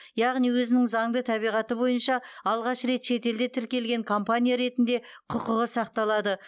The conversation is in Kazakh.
яғни өзінің заңды табиғаты бойынша алғаш рет шетелде тіркелген компания ретінде құқығы сақталады